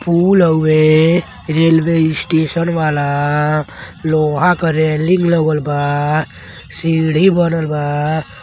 पुल हवे railway station वाला। लोहा के रैलिंग लगल बा सीढ़ी बनल बा।